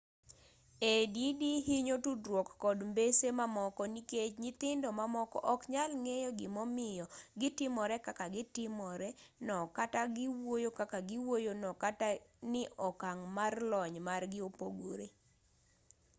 add hinyo tudruok kod mbese mamoko nikech nyithindo mamoko ok nyal ng'eyo gimomiyo gitimore kaka gitimore no kata giwuoyo kaka giwuoyo no kata ni okang' mar lony margi opogore